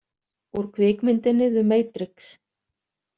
Úr kvikmyndinni The Matrix